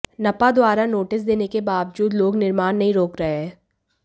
नपा द्वारा नोटिस देने के बावजूद लोग निर्माण नहीं रोक रहे हैं